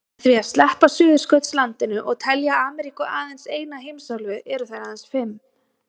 Með því að sleppa Suðurskautslandinu og telja Ameríku aðeins eina heimsálfu eru þær aðeins fimm.